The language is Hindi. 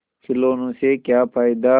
खिलौने से क्या फ़ायदा